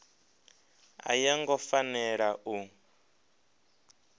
a yo ngo fanela u